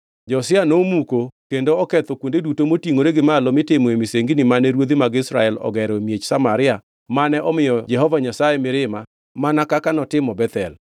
Josia nomuko kendo oketho kuonde duto motingʼore gi malo mitimoe misengini mane ruodhi mag Israel ogero e miech Samaria mane omiyo Jehova Nyasaye mirima mana kaka notimo Bethel.